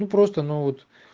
ну просто ну вот